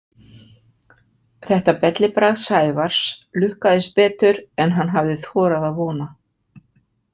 Þetta bellibragð Sævars lukkaðist betur en hann hafði þorað að vona.